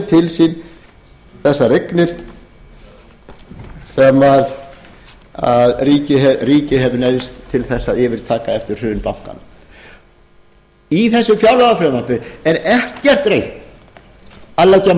í biðröð sem fá aftur til sín þessar eignir sem ríkið hefur neyðst til að yfirtaka eftir hrun bankanna í þessu fjárlagafrumvarpi er ekkert reynt að leggja